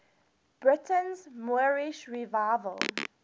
britain's moorish revival